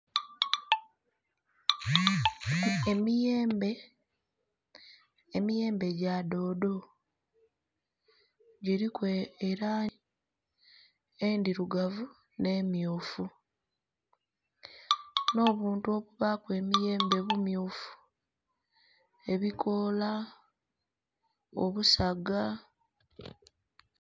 Emiyembe, emiyembe gya doodo giliku elangi endhirugavu n'emmyufu n'obuntu obubaaku emiyembe bummyufu, ebukoola, obusaga...